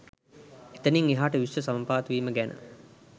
එතනිං එහාට විශ්ව සමපාත වීම ගැන